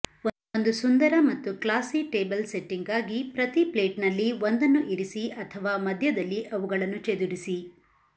ಒಂದು ಸುಂದರ ಮತ್ತು ಕ್ಲಾಸಿ ಟೇಬಲ್ ಸೆಟ್ಟಿಂಗ್ಗಾಗಿ ಪ್ರತಿ ಪ್ಲೇಟ್ನಲ್ಲಿ ಒಂದನ್ನು ಇರಿಸಿ ಅಥವಾ ಮಧ್ಯದಲ್ಲಿ ಅವುಗಳನ್ನು ಚೆದುರಿಸಿ